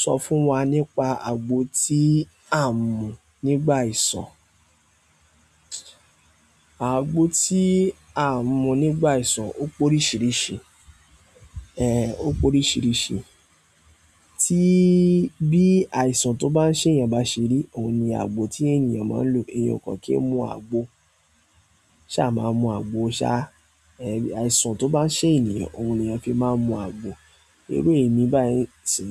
Sọ fún wa nípa àgbo tí a n mú nígbà àìsàn. Àgbo tí a mú nígbà àìsàn ó pé oríṣìíríṣìí, ẹ́ ó pé oríṣìíríṣìí. Tí bí àìsàn tó bá ń ṣe ènìyàn bá ṣeri, òun ni àgbo tí ènìyàn máa ń lo. Ẹ̀yin ọkàn kí n mu àgbo, ṣá máa mú àgbo ṣá. Ẹ̀ àìsàn tó bá ń ṣe ènìyàn, òun ni ẹ fi máa ń mu àgbo. Irú emi bá yí n sì,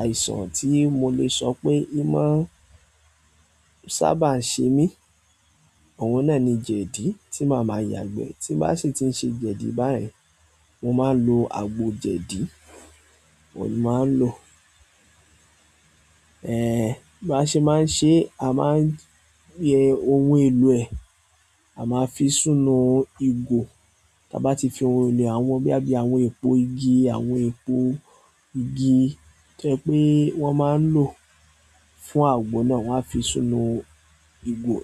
àìsàn tí mo lè sọ pé í máa ń sábà ń ṣe mí, àwọn náà ni jẹ̀dí tí màá máa yàgbẹ́. Tí bá sì ti ń ṣe jẹ̀dí báyìí, mo máa ń lo àgbo jẹ̀dí, mo máa ń lo. Ẹ̀ bá ṣe máa ń ṣe, a máa ń yẹ ohun èlò ẹ. A ma fi sínú igo, taba ti fi sínú, àwọn bi boya bi epo igi, to je wípé won ma n lo fún agbo na, won a fi sínú igo,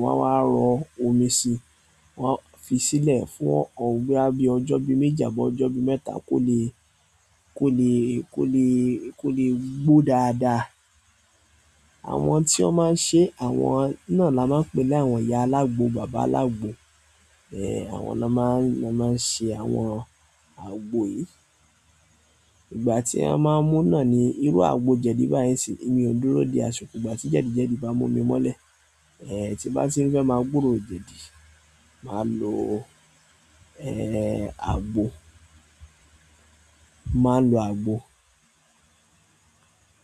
wo a wa ro omi si. Wọn á fi sílẹ̀ fún ọ̀ọ́ bí i ọjọ́ bíi méjì àbí ọjọ́ bíi mẹ́ta kó lè, kó lè, kó lè, kó lè gbo dáadáa. Àwọn tí wọ́n máa ń ṣe, àwọn náà la máa ń pè lá àwọn ìyá alágbo, bàbá alágbo. Ẹ̀ àwọn náà máa ń, máa ń sẹ àwọn àgbo yìí. Ìgbà tí a máa ń mú náà ni irú àgbọ jẹ̀dí báyìí sì, èmi ò dúró di aṣikọ, ìgbà tí jẹ̀dí jẹ̀dí bá mú mi mọ́lẹ̀. Ẹ̀ tí n bá ti ń fẹ́ máa gbúro jẹ̀dí, màá lo ẹ̀ àgbo, màá lo àgbo.